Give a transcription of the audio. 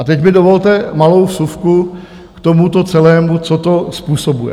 A teď mi dovolte malou vsuvku k tomuto celému, co to způsobuje.